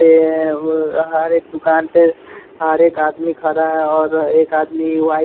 ए व हर एक दुकान पे हर एक आदमी खड़ा है और एक आदमी व्हाइट --